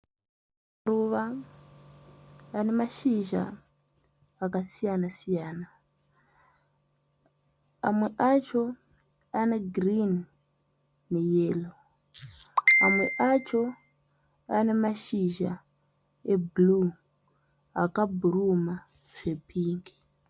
Maruva ane mashizha akasiyana siyana. Amwe acho ane girinhi neyero. Amwe acho ane mashizha ebhuruu akabhuruma zvepingi.